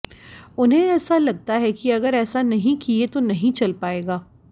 उन्हें ऐसा लगता है कि अगर ऐसा नहीं किए तो नहीं चल पाएगा